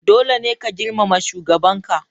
Dole ne ka girmama shugabanka!